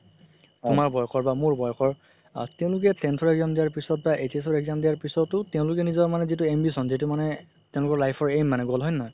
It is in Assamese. তোমাৰ বয়সৰ বা মোৰ বয়সৰ আ তেওঁলোকে tenth ৰ exam দিয়া পিছত বা HS ৰ exam দিয়া পিছতও তেওঁলোৰ নিজৰ মানে যিতো ambition যিতো মানে তেওঁলোকৰ life ৰ aim মানে goal হয় নে নহয়